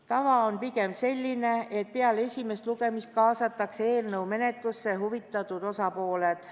Tava on pigem selline, et peale esimest lugemist kaasatakse eelnõu menetlusse huvitatud osapooled.